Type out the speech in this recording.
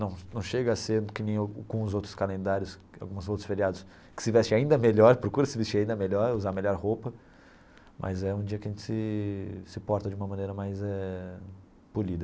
Não não chega a ser que nem como os outros calendários, como os outros feriados, que se veste ainda melhor, procura se vestir ainda melhor, usar a melhor roupa, mas é um dia que a gente se se porta de uma maneira mais eh polida.